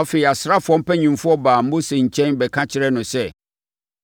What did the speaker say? Afei, asraafoɔ mpanimfoɔ baa Mose nkyɛn bɛka kyerɛɛ no sɛ,